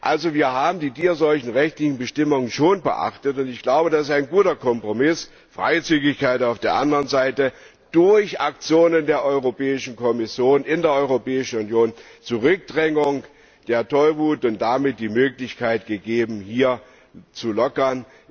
Wir haben also die tierseuchenrechtlichen Bestimmungen schon beachtet, und das ist ein guter Kompromiss Freizügigkeit, auf der anderen Seite durch Aktionen der Europäischen Kommission in der Europäischen Union eine Zurückdrängung der Tollwut, und damit ist die Möglichkeit gegeben, hier zu lockern.